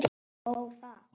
Ó, það!